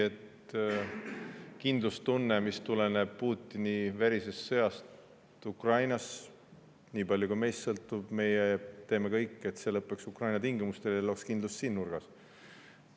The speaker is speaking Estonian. Kindlustunde, mis tuleneb Putini verisest sõjast Ukrainas – nii palju kui meist sõltub, me teeme kõik selleks, et see lõpeks Ukraina tingimustel ja looks kindlust siin nurgas.